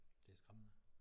Det er skræmmende